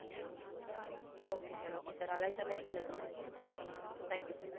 okay sir okay sir அழைத்தமைக்கு நன்றி sir